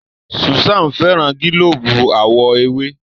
Susan féràn gilobu àwo ewé.